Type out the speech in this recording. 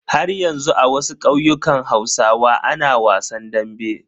Haryanzu a wasu ƙauyukan hausawa ana wasan dambe.